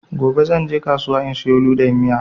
Gobe zan je kasuwa in siyo ludayin miya